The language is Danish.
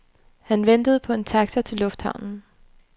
Han ventede på en taxa til lufthavnen.